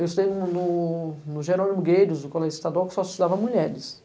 Eu estudei no no no Gerônimo Gueiros, o colégio estadual, que só estudava mulheres.